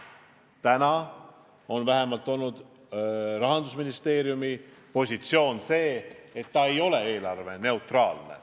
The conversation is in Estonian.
Seni on vähemalt Rahandusministeeriumi positsioon olnud, et see samm ei ole eelarveneutraalne.